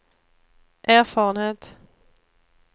erfarenhet